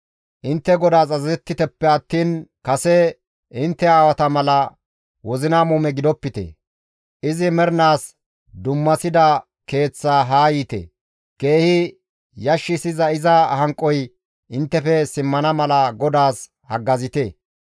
Intte GODAAS azazettiteppe attiin kase intte aawata mala wozina muume gidopite! Izi mernaas dummasida Keeththaa haa yiite. Keehi yashshiza iza hanqoy inttefe simmana mala GODAAS haggazite.